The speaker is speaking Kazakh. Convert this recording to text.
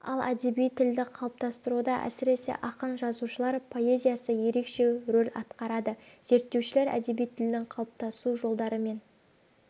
ал әдеби тілді қалыптастыруда әсіресе ақын-жазушылар поэзиясы ерекше рөл атқарады зерттеушілер әдеби тілдің қалыптасу жолдары мен